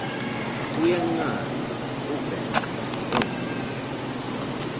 uyancanywa ubrenda emveni